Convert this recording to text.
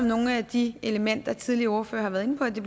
nogle af de elementer som de foregående ordførere har været inde på i det